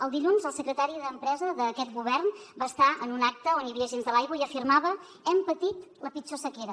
el dilluns el secretari d’empresa d’aquest govern va estar en un acte on hi havia agents de l’aigua i afirmava hem patit la pitjor sequera